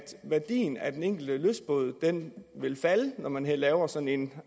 værdien af den enkelte lystbåd vil falde når man laver sådan en